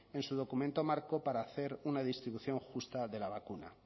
en su documento marco para hacer una distribución justa de la vacuna